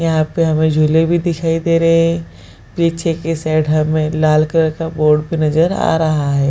यहाँ पे हुमें झूले भी दिखाई दे रहे है पीछे के साइड हमें लाल कलर का बोर्ड भी नज़र आ रहा है।